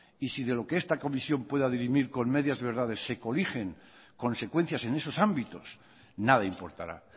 y si de lo que esta comisión pueda dirimir con medias y verdades se coligen consecuencias en esos ámbitos nada importará